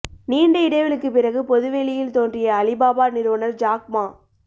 நீண்ட இடைவெளிக்கு பிறகு பொதுவெளியில் தோன்றிய அலிபாபா நிறுவனர் ஜாக் மா